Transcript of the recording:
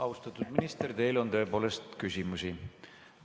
Austatud minister, teile on tõepoolest küsimusi.